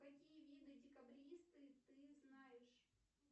какие виды декабристы ты знаешь